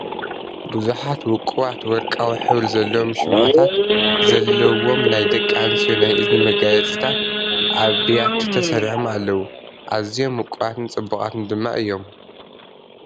ብዙሓት ውቁባት ወርቃዊ ሕብሪ ዘለዎም ሽምዓታት ዘለውዎም ናይ ደቂ ኣንስትዮ ናይ እዝኒ መጋየፂታት፣ ኣብ ብያቲ ተሰሪዖም ኣለዉ። ኣዝዮም ውቁባትን ጽቡቓትን ድማ አዮም።